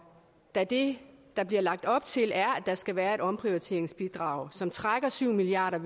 da det der bliver lagt op til er der skal være et omprioriteringsbidrag som trækker syv milliard